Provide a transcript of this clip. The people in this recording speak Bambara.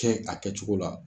Kɛ a kɛ cogo la.